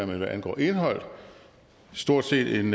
men hvad angår indhold stort set en